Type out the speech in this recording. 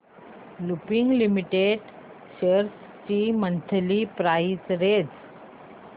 Lupin limited shares ची monthly price range